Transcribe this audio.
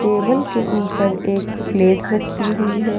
Table के ऊपर एक प्लेट रखी हुई है।